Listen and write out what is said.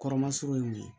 Kɔrɔmasuru ye mun ye